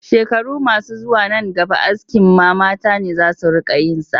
Shekaru masu zuwa nan gaba askin ma mata ne za su riƙa yin sa